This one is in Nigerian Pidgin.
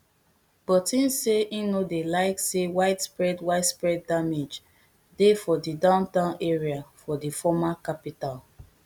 but im say e no dey like say widespread widespread damage dey for di downtown area of di former capital